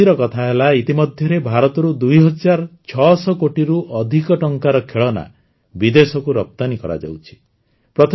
ଆଉ ଖୁସିର କଥା ହେଲା ଇତିମଧ୍ୟରେ ଭାରତରୁ ଦୁଇହଜାର ଛଅଶହ କୋଟିରୁ ଅଧିକ ଟଙ୍କାର ଖେଳନା ବିଦେଶକୁ ରପ୍ତାନୀ କରାଯାଇଛି